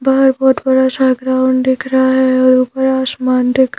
बाहर बहुत बड़ा सा ग्राउंड दिख रहा है और ऊपर आसमान दिख--